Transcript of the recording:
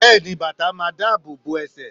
Bẹ́ẹ̀ni bàtà máa dáàbò bo ẹsẹ̀